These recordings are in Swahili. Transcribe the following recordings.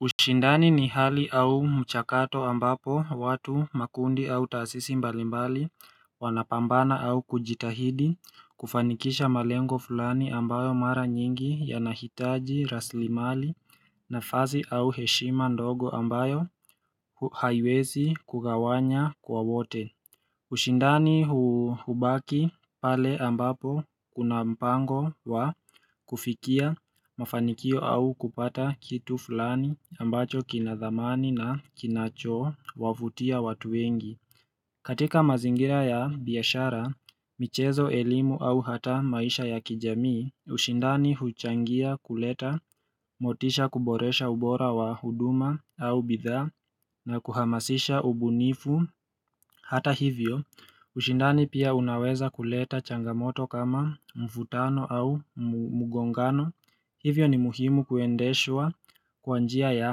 Ushindani ni hali au mchakato ambapo watu makundi au taasisi mbalimbali wanapambana au kujitahidi kufanikisha malengo fulani ambayo mara nyingi yanahitaji raslimali na fasi au heshima ndogo ambayo haiwezi kugawanya kwa wote ushindani hubaki pale ambapo kuna mpango wa kufikia mafanikio au kupata kitu fulani ambacho kinadhamani na kinacho wavutia watu wengi. Katika mazingira ya biashara, michezo, elimu au hata maisha ya kijamii, ushindani huchangia kuleta, motisha kuboresha ubora wa huduma au bidhaa na kuhamasisha ubunifu. Hata hivyo, ushindani pia unaweza kuleta changamoto kama mvutano au mgongano Hivyo ni muhimu kuendeshwa kwanjia ya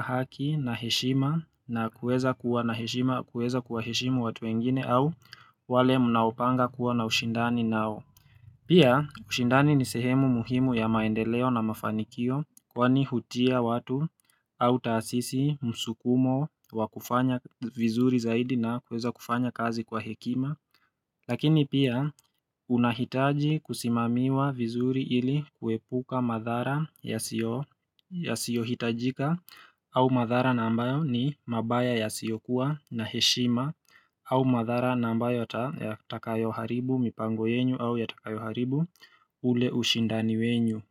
haki na heshima na kueza kuwa na heshima kuweza kuwaheshimu watu wengine au wale mnaopanga kuwa na ushindani nao Pia ushindani ni sehemu muhimu ya maendeleo na mafanikio kwa ni hutia watu au taasisi msukumo wa kufanya vizuri zaidi na kweza kufanya kazi kwa hekima Lakini pia unahitaji kusimamiwa vizuri ili kuepuka madhara yasio yasiohitajika au madhara na ambayo ni mabaya ya siyokuwa na heshima au madhara na ambayo yata yatatakayo haribu mipango yenyu au ya takayo haribu ule ushindani wenyu.